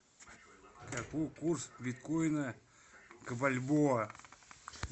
какой курс биткоина к бальбоа